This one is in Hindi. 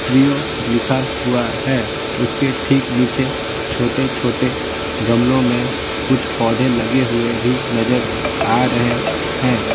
थ्री ओ लिखा हुआ है उसके ठीक नीचे छोटे-छोटे गमलों में कुछ पौधे लगे हुए भी नजर आ रहे हैं।